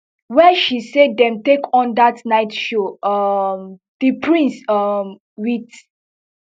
wey she say dem take on dat night show um di prince um wit